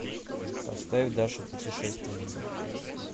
поставь даша путешественница